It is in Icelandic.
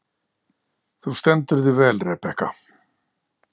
Þú stendur þig vel, Rebekka!